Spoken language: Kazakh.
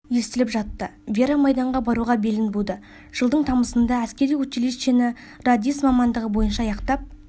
естіліп жатты вера майданға баруға белін буды жылдың тамызында әскери училищені радист мамандығы бойынша аяқтап